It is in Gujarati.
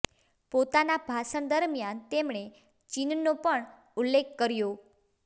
પોતાના ભાષણ દરમિયાન તેમણે ચીનનો પણ ઉલ્લેખ કર્યો